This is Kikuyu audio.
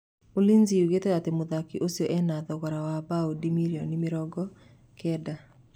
Ulinzi yugĩte atĩ mũthaki ũcio ena thogora wa baũndi mirioni mĩrongo kenda.